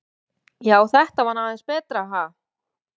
Já, þetta var nú aðeins betra, ha!